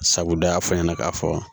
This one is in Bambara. Sabu dɔ y'a fɔ a ɲɛna k'a fɔ